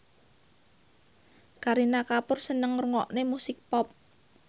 Kareena Kapoor seneng ngrungokne musik pop